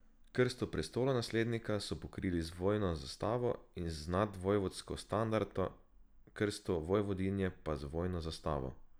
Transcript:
Krsto prestolonaslednika so pokrili z vojno zastavo in z nadvojvodsko standarto, krsto vojvodinje pa z vojno zastavo.